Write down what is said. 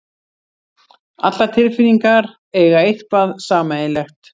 Allar tilfinningar eiga eitthvað sameiginlegt.